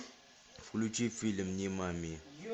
включи фильм нимами